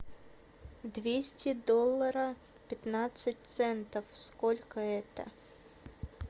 двести долларов пятнадцать центов сколько это